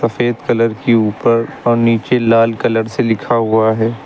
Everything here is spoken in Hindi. सफेद कलर के ऊपर और नीचे लाल कलर से लिखा हुआ है।